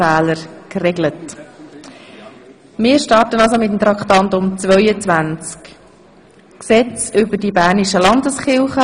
Damit starten wir mit Traktandum 22, dem Gesetz über die bernischen Landeskirchen.